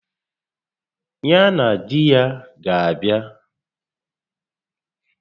Ya na di ya ga abịa